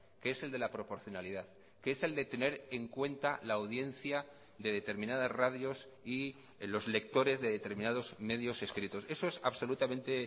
que es el de la proporcionalidad que es el de tener en cuenta la audiencia de determinadas radios y los lectores de determinados medios escritos eso es absolutamente